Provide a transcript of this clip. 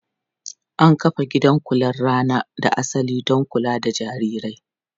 An kafa gidan kular rana da asali don kula da jarirai.